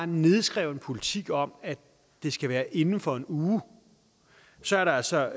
nedskreven politik om at det skal være inden for en uge så er der altså